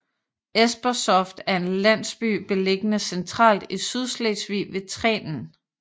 Esperstoft er en landsby beliggende centralt i Sydslesvig ved Trenen